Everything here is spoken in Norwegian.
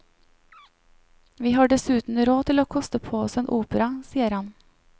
Vi har dessuten råd til å koste på oss en opera, sier han.